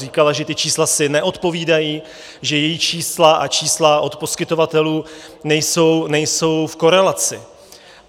Říkala, že ta čísla si neodpovídají, že její čísla a čísla od poskytovatelů nejsou v korelaci.